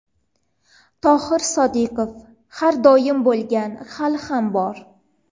Tohir Sodiqov: Har doim bo‘lgan, hali ham bor.